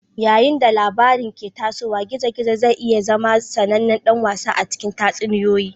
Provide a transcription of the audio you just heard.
Yayin da labarin ke tasowa, gizo-gizo zai iya zama sanannen dan wasa a cikin tatsuniyoyi.